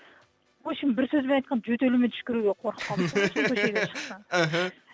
в общем бір сөзбен айтқанда жөтелуге түшкіруге қорқып іхі